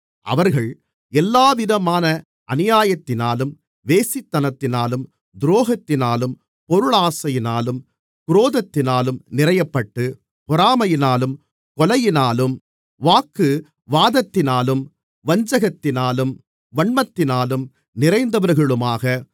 அவர்கள் எல்லாவிதமான அநியாயத்தினாலும் வேசித்தனத்தினாலும் துரோகத்தினாலும் பொருளாசையினாலும் குரோதத்தினாலும் நிறையப்பட்டு பொறாமையினாலும் கொலையினாலும் வாக்குவாதத்தினாலும் வஞ்சகத்தினாலும் வன்மத்தினாலும் நிறைந்தவர்களுமாக